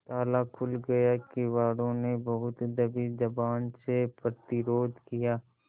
ताला खुल गया किवाड़ो ने बहुत दबी जबान से प्रतिरोध किया